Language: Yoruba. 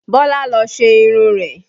Bọlá lọ ṣe irun rẹ̀